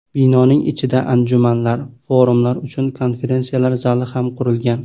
Binoning ichida anjumanlar, forumlar uchun konferensiyalar zali ham qurilgan.